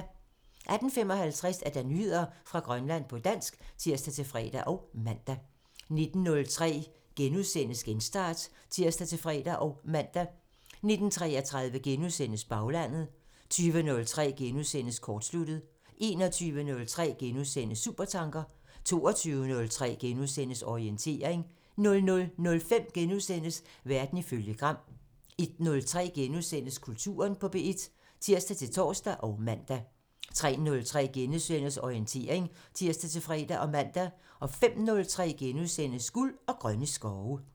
18:55: Nyheder fra Grønland på dansk (tir-fre og man) 19:03: Genstart *(tir-fre og man) 19:33: Baglandet *(tir) 20:03: Kortsluttet *(tir) 21:03: Supertanker *(tir) 22:03: Orientering *(tir-fre og man) 00:05: Verden ifølge Gram *(tir) 01:03: Kulturen på P1 *(tir-tor og man) 03:03: Orientering *(tir-fre og man) 05:03: Guld og grønne skove *(tir)